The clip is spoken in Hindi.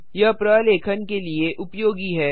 यह प्रलेखन के लिए उपयोगी है